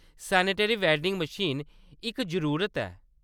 Sanitary vending machine इक जरूरत ऐ।